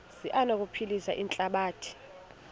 zi anokuphilisa ihlabathi